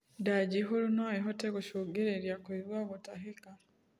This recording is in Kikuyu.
Ndaa njihuru noĩhote gũcũngĩrĩrĩa kuigua gutahika